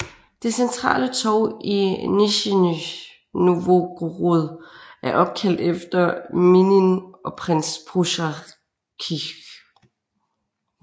Det centrale torv i Nisjnij Novgorod er opkaldt efter Minin og prins Pozjarskij